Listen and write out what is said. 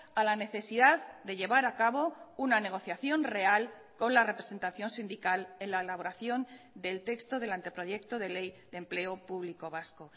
a la necesidad de llevar a cabo una negociación real con la representación sindical en la elaboración del texto del anteproyecto de ley de empleo público vasco